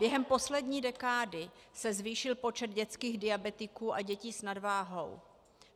Během poslední dekády se zvýšil počet dětských diabetiků a dětí s nadváhou.